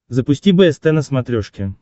запусти бст на смотрешке